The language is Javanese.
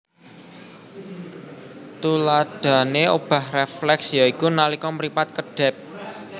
Tuladahané obah rèflèks ya iku nalika mripat kedhèp